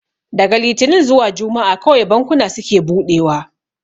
Daga litinin zuwa juma'a kawai bankuna suke buɗewa